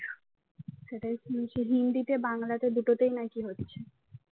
সেটাই শুনছি হিন্দিতে বাংলাতে দুটোতেই নাকি হচ্ছে।